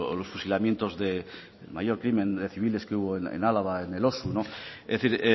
los fusilamientos del mayor crimen de civiles que hubo en álava en elosu es decir